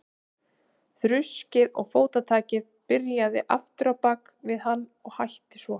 Þruskið og fótatakið byrjaði aftur á bak við hann og hætti svo.